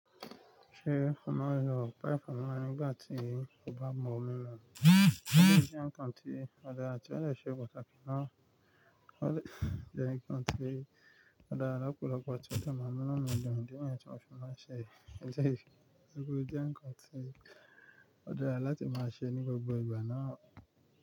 Ṣé ọlá yóò pa Ẹfọlá nígbà tí ó bá mọ̀ mímọ̀? Ó jẹ́ nǹkan tí ó dára tí ó dè ṣe pàtàkì náà. Ó lè jẹ́ nǹkan tí ó dára lọ́pọ̀lọpọ̀ tí ó de mamú inu mi dun, òún idí níyẹn tí mo fẹ́ máa ṣe. Ṣẹ̀, tori ó jẹ́ nǹkan tí ó dára láti máa ṣe ní gbogbo ìgbà náà.